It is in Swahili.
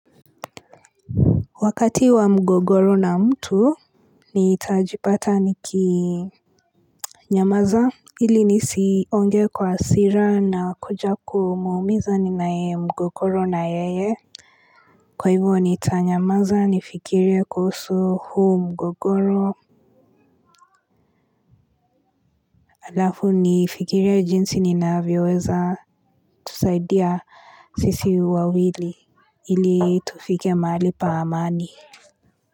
Wakati wa mgogoro na mtu nitajipata nikinyamaza ili nisiongee kwa hasira na kuja kumuumiza ninaye mgogoro na yeye kwa hivyo nitanyamaza nifikirie kuhusu huu mgogoro alafu nifikirie jinsi ninavyoweza tusaidia sisi wawili ili tufike mahali pa amani.